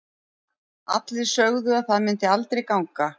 Allir sögðu að það myndi aldrei ganga.